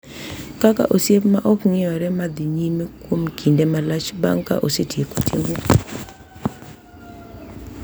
Kaka osiep ma ok ng’iyore ma dhi nyime kuom kinde malach bang’ ka osetieko timno.